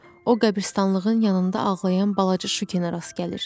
O qəbiristanlığın yanında ağlayan balaca Şukiyə rast gəlir.